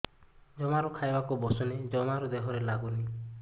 ଜମାରୁ ଖାଇବାକୁ ବସୁନି ଜମାରୁ ଦେହରେ ଲାଗୁନି